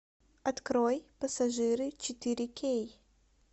открой пассажиры четыре кей